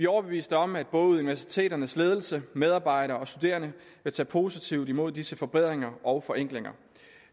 overbeviste om at både universiteternes ledelser medarbejdere og studerende vil tage positivt imod disse forbedringer og forenklinger